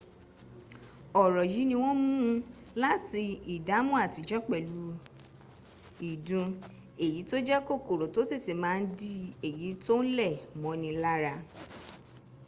ọ̀rọ̀ yìí ni wọ́n mún láti ìdámọ́ àtijọ́ pẹ̀lú ìdun èyí tó jẹ́ kòkòrò tó tètè ma ń di èyí tó ń lẹ̀ mọ́ni lára